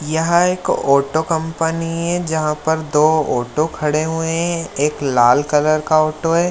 यहाँ एक auto company है जहाँ पर दो ऑटो खड़े हुए हैं एक लाल कलर का ऑटो है।